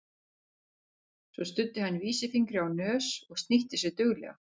Svo studdi hann vísifingri á nös og snýtti sér duglega.